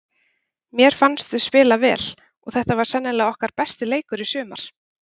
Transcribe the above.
Mér fannst við spila vel og þetta var sennilega okkar besti leikur í sumar.